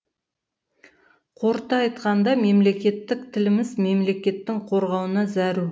қорыта айтқанда мемлекеттік тіліміз мемлекеттің қорғауына зәру